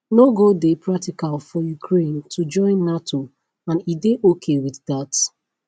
no go dey practical for ukraine to join nato and e dey ok wit dat